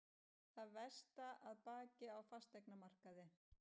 Það versta að baki á fasteignamarkaði